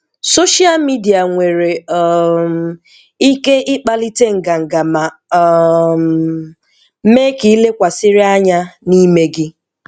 Social media nwere um ike ịkpalite ngàngà ma um mee ka ị lekwàsịrị anya n’ime gị.